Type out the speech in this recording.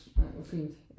Nej hvor fint